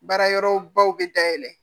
Baara yɔrɔ baw bɛ dayɛlɛ